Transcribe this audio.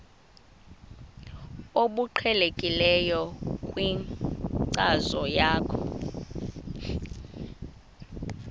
obuqhelekileyo kwinkcazo yakho